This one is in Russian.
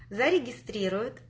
зарегистрируют